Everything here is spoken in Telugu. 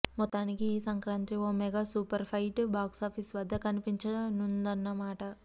మొత్తానికి ఈ సంక్రాంతి ఓ మెగా సూపర్ ఫైట్ బాక్సాఫీసు వద్ద కనిపించనుందన్నమాట